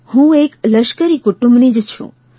હું એક લશ્કરી કુટુંબની જ છું